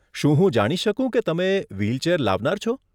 શું હું જાણી શકું કે તમે વ્હીલચેર લાવનાર છો?